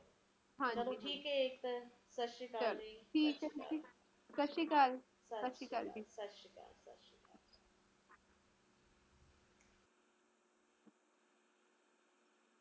ਦੁਖੀ ਐ ਤੇ ਆਨੇ ਵਾਲਾ ਸਮਾਂ ਕਿ ਹੋਊਗਾ ਇਹ ਚੀਜ਼ ਬਹੁਤ ਬਹੁਤ ਸਮਝਣੀ ਜ਼ਰੂਰੀ ਐ ਸਮਜਲੋ ਆਪ ਉਹ ਪੀੜੀ ਆ ਜਿਹਨੇ ਸਾਰਾ ਕੁਸ਼ ਦੇਖਿਆ ਹੈ